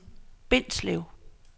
Bindslev